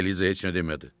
Eliza heç nə demədi.